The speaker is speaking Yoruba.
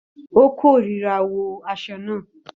Ó kórìíra àwọ̀ aṣọ náà.